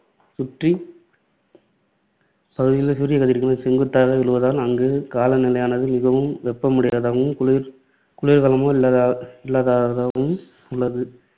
சுற்றி பகுதிகளில் சூரியக்கதிர்கள் செங்குத்தாக விழுவதால் அங்கு காலநிலையானது மிகவும் வெப்பமுடையதாகவும், குளிர் குளிர்காலமே இல்லாததாகவும் உள்ளது.